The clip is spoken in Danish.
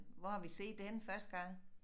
Hvor har vi set det henne første gang?